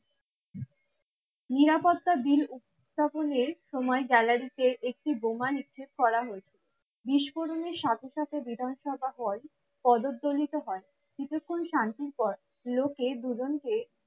নিরাপত্তা বিল উপস্থাপনের সময় গ্যালারিতে একটি বোমা নিক্ষেপ করা হয়েছে বিস্ফোরণের সাথে সাথে বিধানসভা হল প্রজ্বলিত হয় কিছুক্ষন শান্তির পর লোকে দুজনকে